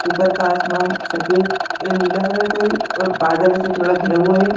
ऊपर का आसमान सफेद या नीला कलर का है और बादल से थोड़ा घेरा हुआ है।